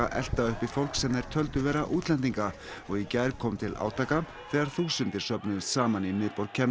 elta uppi fólk sem þeir töldu vera útlendinga og í gær kom til átaka þegar þúsundir söfnuðust saman í miðborg